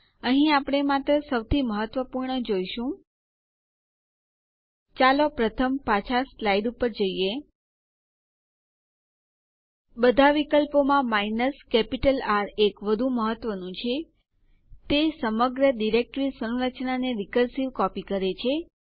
અને અહીં આપણું નવું બનાવેલ યુઝર ડક છે